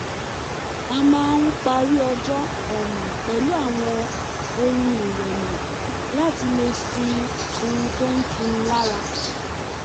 a máa ń parí ọjọ́ pẹ̀lú àwọn orin ìrẹ̀lẹ̀ láti lè sùn oorun tó ń tuni lára